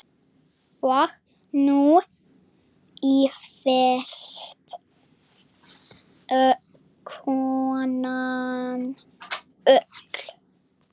Og nú ýfist konan öll.